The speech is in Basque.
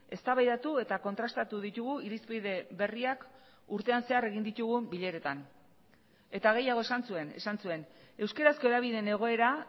eztabaidatu eta kontrastatu ditugu irizpide berriak urtean zehar egin ditugun bileretan eta gehiago esan zuen esan zuen euskarazko hedabideen egoera